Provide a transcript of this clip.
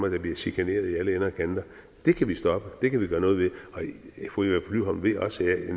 der bliver chikaneret i alle ender og kanter det kan vi stoppe det kan vi gøre noget ved og fru eva flyvholm ved også at